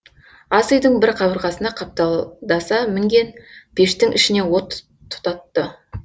ас үйдің бір қабырғасына қапталдаса мінген пештің ішіне от тұтатты